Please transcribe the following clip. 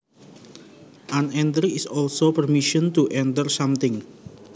An entry is also permission to enter something